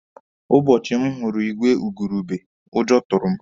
Ụbọchị m hụrụ igwe igurube, ụjọ tụrụ m.